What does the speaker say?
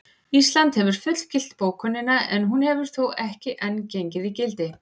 Ísland hefur fullgilt bókunina en hún hefur þó ekki enn gengið í gildi.